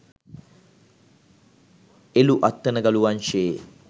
එලුඅත්තනගලු වංශයේ